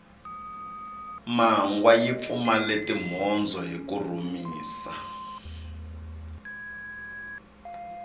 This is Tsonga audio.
mangwa yi pfumale timhondzo hiku rhumisa